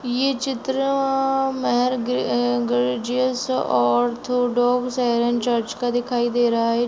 ये चित्र अ मार ग्रे अ ग्रेओजीयस ऑर्थोडॉक्स सीरियन चर्च का दिखाई दे रहा हैं।